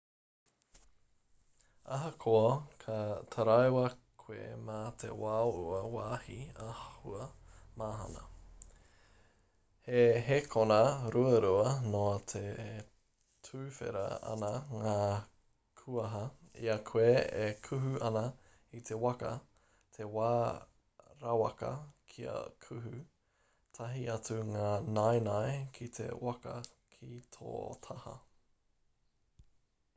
ahakoa ka taraiwa koe mā te wao ua wāhi āhua mahana he hēkona ruarua noa e tuwhera ana ngā kuaha i a koe e kuhu ana i te waka te wā rawaka kia kuhu tahi atu ngā naenae ki te waka ki tō taha